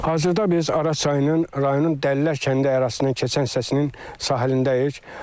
Hazırda biz Araz çayının rayonun Dəllər kəndi ərazisindən keçən hissəsinin sahilindəyik.